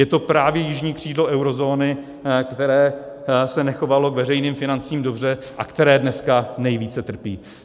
Je to právě jižní křídlo eurozóny, které se nechovalo k veřejným financím dobře a které dneska nejvíce trpí.